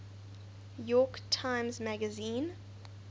york times magazine